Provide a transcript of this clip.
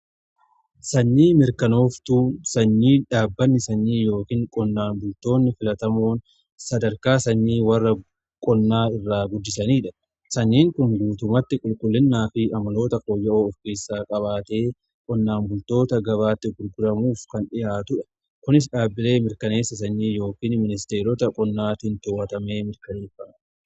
Sanyii mirkanooftuun sanyii dhaabbanni sanyii yookiin qonnaan bultoonni filatamoon sadarkaa sanyii warra qonnaa irraa guddisaniidha. Sanyiin kun guutumatti qulqullinnaa fi amaloota fooyya'oo of keessaa qabaatee qonnaan bultoota gabaatti gurguramuuf kan dhihaatudha. Kunis dhaabbilee mirkaneessa sanyii yookiin ministeerota qonnaatiin towwatamee mirkanaa'a.